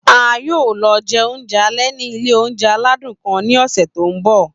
A yoo lọ jẹ ounjẹ alẹ ni ile ounjẹ aladun kan ni ọsẹ to nbọ.